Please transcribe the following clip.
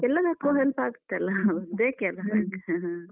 ಎಲ್ಲದಕ್ಕೂ help ಆಗತ್ತಲ್ಲ? ಬೇಕೆ ಅಲ್ಲ bank. ter